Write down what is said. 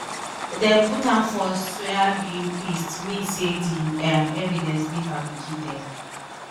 dem put am for soybean paste mean say di um evidence dey fabricated